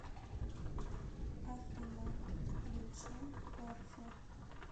афина включи порхе